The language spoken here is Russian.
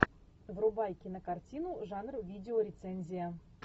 врубай кинокартину жанр видеорецензия